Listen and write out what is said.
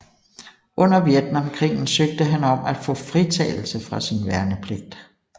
Under Vietnamkrigen søgte han om at få fritagelse fra sin værnepligt